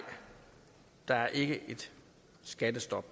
der er ikke et skattestop